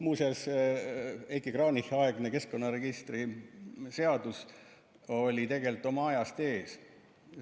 Muuseas, Heiki Kranichi aegne keskkonnaregistri seadus oli tegelikult oma ajast ees.